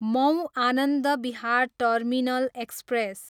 Mau, Anand Vihar terminal express